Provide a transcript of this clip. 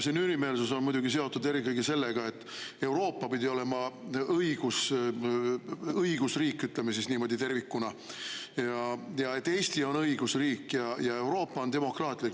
See nürimeelsus on muidugi seotud eelkõige sellega, et Euroopa pidi olema õigusriik, ütleme siis niimoodi, tervikuna, ja et Eesti on õigusriik ja Euroopa on demokraatlik.